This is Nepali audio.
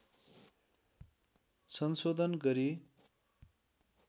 संशोधन गरी